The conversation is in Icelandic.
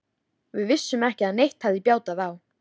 Við vissum ekki að neitt hefði bjátað á.